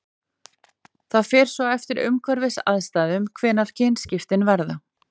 Það fer svo eftir umhverfisaðstæðum hvenær kynskiptin verða.